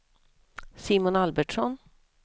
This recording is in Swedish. Simon Albertsson